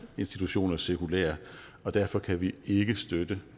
institutioner sekulære og derfor kan vi ikke støtte